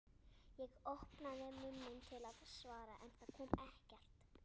Ég opnaði munninn til að svara en það kom ekkert.